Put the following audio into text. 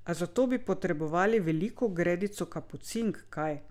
A za to bi potrebovali veliko gredico kapucink, kaj?